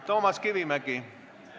Toomas Kivimägi, palun!